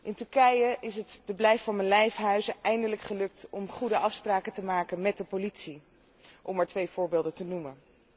in Turkije is het de blijf van mijn lijf huizen eindelijk gelukt om goede afspraken te maken met de politie, om maar twee voorbeelden te noemen.